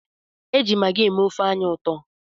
Eji magi eme ofe anyị ụtọ.